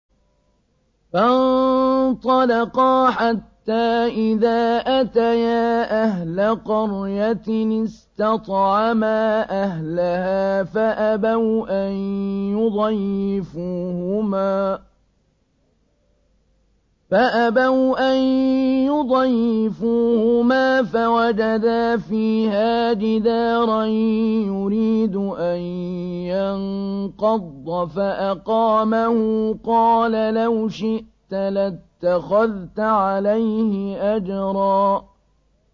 فَانطَلَقَا حَتَّىٰ إِذَا أَتَيَا أَهْلَ قَرْيَةٍ اسْتَطْعَمَا أَهْلَهَا فَأَبَوْا أَن يُضَيِّفُوهُمَا فَوَجَدَا فِيهَا جِدَارًا يُرِيدُ أَن يَنقَضَّ فَأَقَامَهُ ۖ قَالَ لَوْ شِئْتَ لَاتَّخَذْتَ عَلَيْهِ أَجْرًا